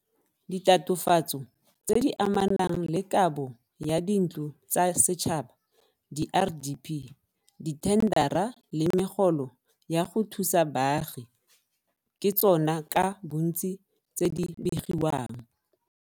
Ditatofatso tse di amanang le kabo ya dintlo tsa setšhaba diRDP, dithendara le megolo ya go thusa baagi ke tsona ka bontsi tse di begiwang.